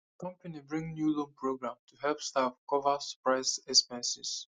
company bring new loan program to help staff cover surprise expenses